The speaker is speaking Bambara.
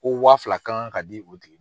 Ko wa fila kan kan ka di u tigi